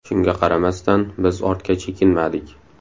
Shunga qaramasdan, biz ortga chekinmadik.